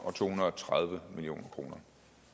og to hundrede og tredive million kroner